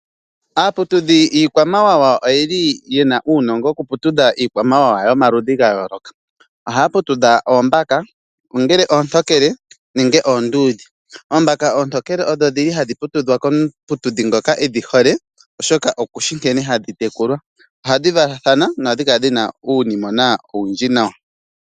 Aaputudhi yiikwamawawa oyeli yena uunongo woku putudha iikwamawawa yomaludhi gayooloka. Ohaya putudha oombaka ongele oontokele nenge oonduudhe. Oombaka oontokele odhodhili hadhi putudhwa komuputudhi edhihole oshoka okushi nkene hadhi tekulwa. Ohadhi valathana nohadhi kala dhina uunimwena owundji nawa.